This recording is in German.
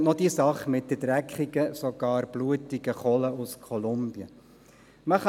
Dann kommt noch die Sache mit der dreckigen oder gar blutigen Kohle aus Kolumbien hinzu.